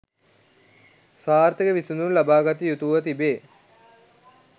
සාර්ථක විසඳුම් ලබා ගත යුතුව තිබේ